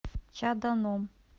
чаданом